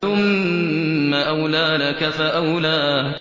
ثُمَّ أَوْلَىٰ لَكَ فَأَوْلَىٰ